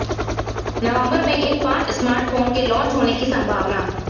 नवंबर में इन पांच स्मार्टफोन के लॉन्च होने की संभावना